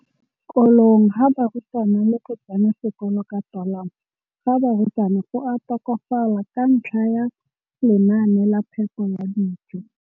Kolong ga barutwana le go tsena sekolo ka tolamo ga barutwana go a tokafala ka ntlha ya lenaane la phepo ya dijo.